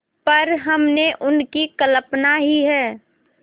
पर हमने उनकी कल्पना ही है